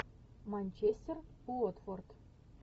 манчестер уотфорд